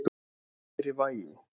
Kæri Væi.